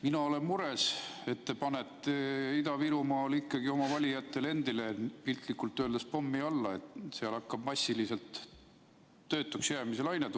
Mina olen mures, et te panete Ida-Virumaal ikkagi oma valijatele endile piltlikult öeldes pommi alla, et seal hakkab tulema massiliselt töötuks jäämise laine.